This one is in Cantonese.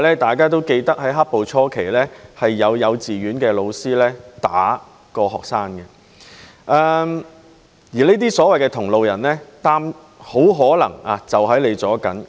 大家也記得在"黑暴"初期，有幼稚園教師打學生，而這些所謂的同路人，很可能在你身邊。